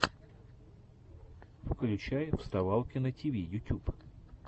включай вставалкина тиви ютюб